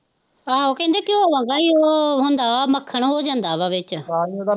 ਆਹੋ ਕਹਿੰਦੇ ਘਿਉ ਵਾਂਗ ਹੀ ਉਹ ਹੁੰਦਾ ਵਾ ਮੱਖਣ ਉਹ ਜਾਂਦਾ ਵਾ ਵਿੱਚ